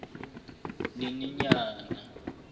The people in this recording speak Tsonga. nyenyenyane